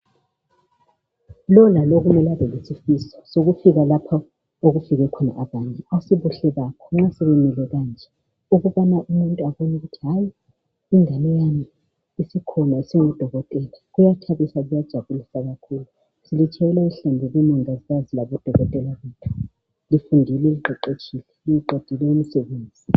Lo lalo kumele abelesifiso sokufika lapho okufike khona abanye asibuhle bakho ma sebemile kanje ukubana umuntu abone ukuthi hayi ingane yami isikhona isingudokotela kuyathabisa kuyajabulisa kakhulu silitshayela ihlombe bomongikazi labodokotela bethu lifundile liqeqetshile liqedile umsebenzi